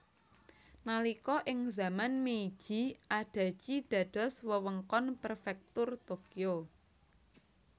Nalika ing zaman Meiji Adachi dados wewengkon Prefektur Tokyo